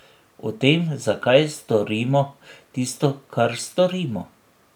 O tem, zakaj storimo tisto, kar storimo.